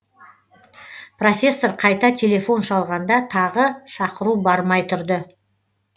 профессор қайта телефон шалғанда тағы шақыру бармай тұрды